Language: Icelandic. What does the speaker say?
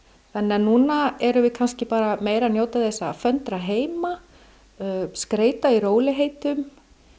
núna erum við kannski bara meira að njóta þess að föndra heima skreyta í rólegheitum